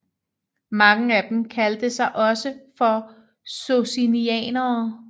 Mange af dem kaldte sig også for socinianere